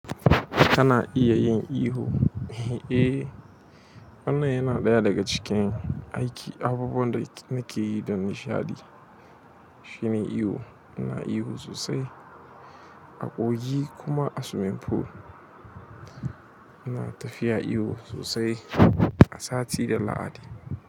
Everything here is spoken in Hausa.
Kana iya yin iyo? Eh, wannan yana ɗaya daga cikin aiki abubuwan da nake yi da nishaɗi. Shine iyo ina iyo sosai a kogi ko kuma a siwimin ful ina tafiya iyo sosai a sati da lahadi.